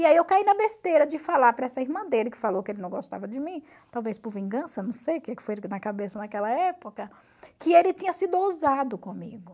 E aí eu caí na besteira de falar para essa irmã dele que falou que ele não gostava de mim, talvez por vingança, não sei o que que foi na cabeça naquela época, que ele tinha sido ousado comigo.